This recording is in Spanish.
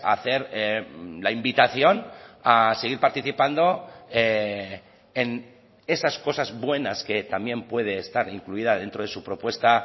hacer la invitación a seguir participando en esas cosas buenas que también puede estar incluida dentro de su propuesta